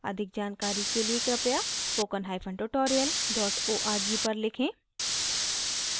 अधिक जानकारी के लिए कृपया spoken hyphen tutorial dot org पर लिखें